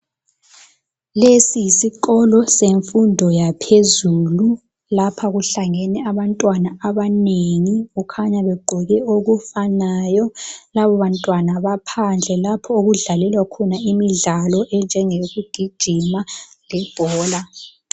Lesi yisikolo semfundo yaphezulu. Lapha kuhlangene abantwana abanengi, kukhanya begqoke okufanayo. Labo bantwana baphandle lapho okudlalelwa khona imidlalo enjengeyokugijima, lebhora.